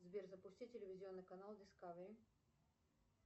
сбер запусти телевизионный канал дискавери